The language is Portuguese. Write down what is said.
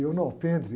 E eu no alprendre.